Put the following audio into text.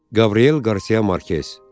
Qabriel Qarsia Markes.